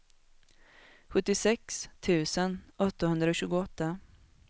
sjuttiosex tusen åttahundratjugoåtta